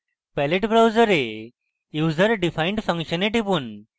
pallet browser userdefined ফাংশনে টিপুন